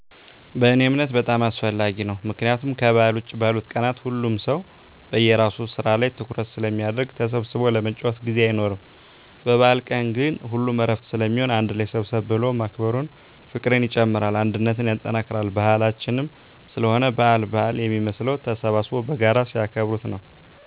በእኔ እምነት በጣም አስፈላጊ ነው። ምክንያቱም ከበዓል ውጭ ባሉት ቀናት ሁሉም ሰው በየራሱ ስራ ላይ ትኩረት ስለሚያደረግ ተሰብስቦ ለመጨዋወት ጊዜ አይኖርም። በበአል ቀን ግን ሁሉም እረፍት ስለሚሆን አንድ ላይ ሰብሰብ ብሎ ማክበሩ ፍቅርን ይጨምራል አንድነትን ያጠናክራል። ባህላችንም ስለሆነ በአል በአል የሚመስለው ተሰብስበው በጋራ ሲያከብሩት ነው።